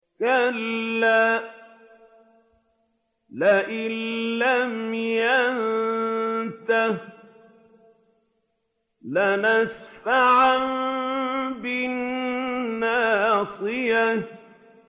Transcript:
كَلَّا لَئِن لَّمْ يَنتَهِ لَنَسْفَعًا بِالنَّاصِيَةِ